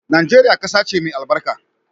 Nageria kasace mai albarka.